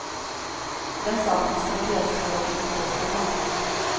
Den saken skulle brevskrivaren inte få bestämma om.